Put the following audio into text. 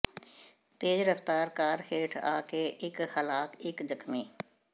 ਤੇਜ਼ ਰਫ਼ਤਾਰ ਕਾਰ ਹੇਠ ਆ ਕੇੇ ਇੱਕ ਹਲਾਕ ਇਕ ਜ਼ਖ਼ਮੀ